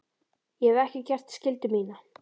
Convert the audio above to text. Ég hef ekki gert skyldu mína.